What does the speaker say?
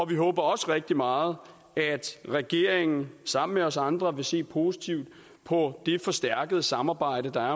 vi håber også rigtig meget at regeringen sammen med os andre vil se positivt på det forstærkede samarbejde der